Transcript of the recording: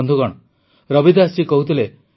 ବନ୍ଧୁଗଣ ରବିଦାସ ଜୀ କହୁଥିଲେ